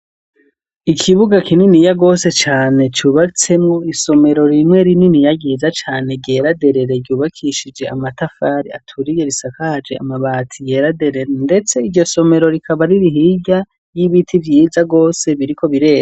Ikibuga kinini yarose cagutse kirimwo ibiti vyinshi cane bitandukanye n'amashurwe menshi cane ico kibuga, kandi kikaba kirimwo abanyeshuri b'abakobwa bariko barataha bambaye imyambaro isa n'ubururu, kandi hirya yabo hakaba harunze amatafari menshi cane.